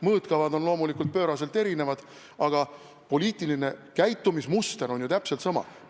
Mõõtkavad on loomulikult pööraselt erinevad, aga poliitiline käitumismuster on ju täpselt sama.